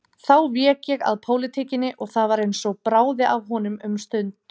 Þá vék ég að pólitíkinni og það var eins og bráði af honum um stund.